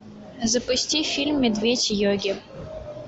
запусти фильм медведь йоги